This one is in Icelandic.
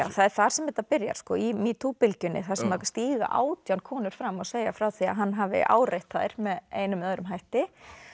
það er þar sem þetta byrjar í metoo bylgjunni þar sem stíga átján konur fram og segja frá því að hann hafi áreitt þær með einum eða öðrum hætti